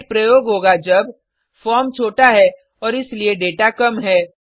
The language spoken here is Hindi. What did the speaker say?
गेट प्रयोग होगा जब फॉर्म छोटा है और इसीलिए डेटा कम है